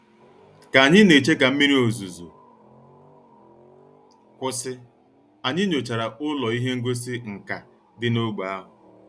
Ka anyị na-eche ka mmiri ozuzo kwụsị, anyị nyochara ụlọ ihe ngosi nka dị n'ógbè ahụ